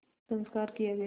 संस्कार किया गया